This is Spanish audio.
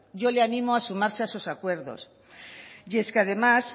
yo le animo a sumarse a esos acuerdos y es que además